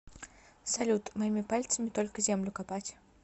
салют моими пальцами только землю копать